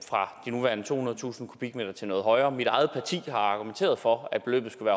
fra de nuværende tohundredetusind m³ til noget højere mit eget parti har argumenteret for at beløbet skulle